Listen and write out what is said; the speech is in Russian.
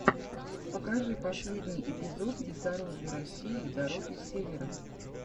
покажи последний эпизод бездорожья россии дороги севера